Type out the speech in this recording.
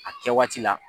A kɛ waati la